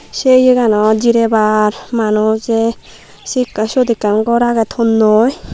se iyo ganot jirebar manujey sut ekkan ghor age thonnoi.